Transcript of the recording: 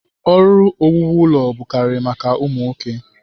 Ọrụ owuwu ụlọ bụkarịrị maka ụmụ nwoke.